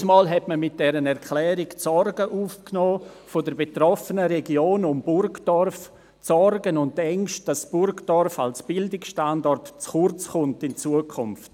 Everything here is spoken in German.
Damals nahm man mit dieser Erklärung die Sorgen der betroffenen Region um Burgdorf auf, die Sorgen und Ängste, dass Burgdorf als Bildungsstandort in Zukunft zu kurz kommen werde.